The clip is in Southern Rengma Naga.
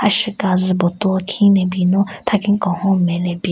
Asheka zu bottle khin ne bin no thakhin kenhon nme le bin.